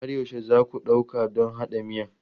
Har yaushe za ku ɗauka don haɗa miyan?